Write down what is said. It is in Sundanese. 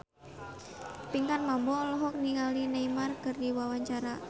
Pinkan Mambo olohok ningali Neymar keur diwawancara